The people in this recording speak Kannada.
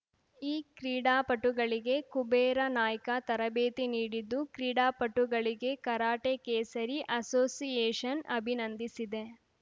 ಈ ಕ್ರೀಡಾಪಟುಗಳಿಗೆ ಕುಬೇರ ನಾಯ್ಕ ತರಬೇತಿ ನೀಡಿದ್ದು ಕ್ರೀಡಾಪಟುಗಳಿಗೆ ಕರಾಟೆ ಕೇಸರಿ ಅಸೋಸಿಯೇಷನ್‌ ಅಭಿನಂದಿಸಿದೆ